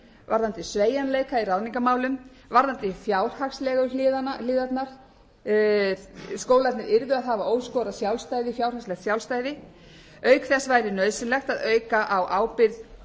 varðandi sveigjanleika í ráðningarmálum varðandi fjárhagslegu hliðarnar skólarnir yrðu að hafa óskorað sjálfstæði fjárhagslegt sjálfstæði auk þess væri nauðsynlegt að auka á ábyrgð